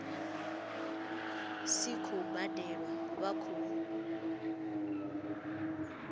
si khou badelwa vha khou